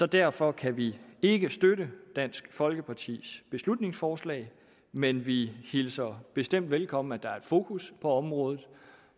derfor kan vi ikke støtte dansk folkepartis beslutningsforslag men vi hilser bestemt velkommen at der er et fokus på området